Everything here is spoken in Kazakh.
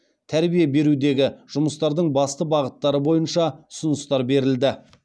тәрбие берудегі жұмыстардың басты бағыттары бойынша ұсыныстар берілді